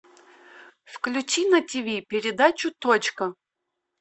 включи на тв передачу точка